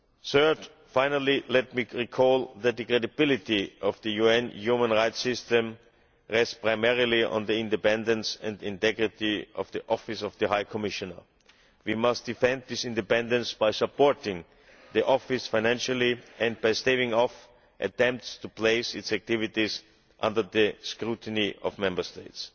Third and finally, let me recall that the credibility of the UN human rights systems rests primarily on the independence and integrity of the Office of the High Commissioner. We must defend this independence by supporting the Office financially and by staving off attempts to place its activities under the scrutiny of Member States.